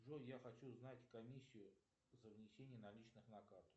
джой я хочу знать комиссию за внесение наличных на карту